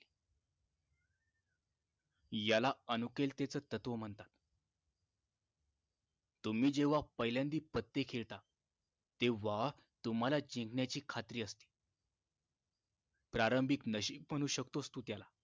याला अनुकूलतेच तत्व म्हणतात तुम्ही जेव्हा पहिल्यांदी पत्ते खेळता तेव्हा तुम्हाला जिंकण्याची खात्री असते प्रारंभिक नशीब म्हणू शकतोस तू त्याला